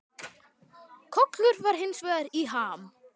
Kollur var hins vegar í ham.